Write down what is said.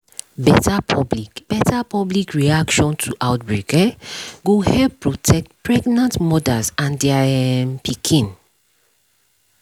better public better public reaction to outbreak um go help protect pregnant mothers and their um pikin